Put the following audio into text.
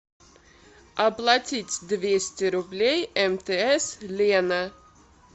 оплатить двести рублей мтс лена